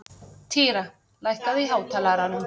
Týra, lækkaðu í hátalaranum.